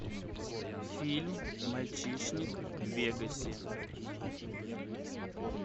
фильм мальчишник в вегасе